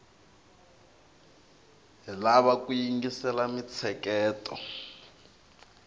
hi lava ku yingisela mintsheketo